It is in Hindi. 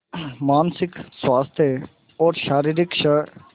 मानसिक स्वास्थ्य और शारीरिक स्